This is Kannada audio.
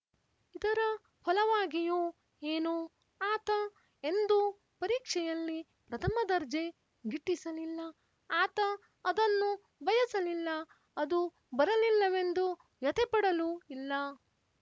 ಇದರ ಫಲವಾಗಿಯೋ ಏನೋ ಆತ ಎಂದೂ ಪರೀಕ್ಷೆಯಲ್ಲಿ ಪ್ರಥಮ ದರ್ಜೆ ಗಿಟ್ಟಿಸಲಿಲ್ಲ ಆತ ಅದನ್ನು ಬಯಸಲಿಲ್ಲ ಅದು ಬರಲಿಲ್ಲವೆಂದು ವ್ಯಥೆಪಡಲೂ ಇಲ್ಲ